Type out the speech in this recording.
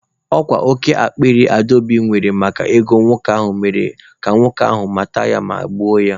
Ọ kwa oke akpịrị Adaobi nwere maka ego nwoke ahụ mere ka nwoke ahụ mata ya ma gbuo ya.